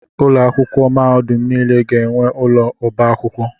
Ụlọ akwụkwọ mahadum niile ga-enwe ụlọ ọba akwụkwọ.